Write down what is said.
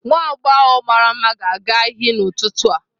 Nwa agbọghọ mara mma ga-aga iyi n'ụtụtụ a.